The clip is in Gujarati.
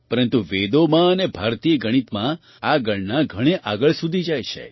પરંતુ વેદોમાં અને ભારતીય ગણિતમાં આ ગણના ઘણે આગળ સુધી જાય છે